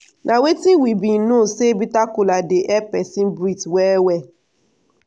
Nah wetin we bin know say bitter kola dey help person breath well well